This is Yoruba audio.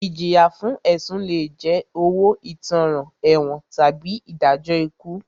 Ìjìyà fún ẹ̀sùn lé jẹ́ owó ìtanràn, ẹ̀wọ̀n tàbí ìdájọ́ ikú.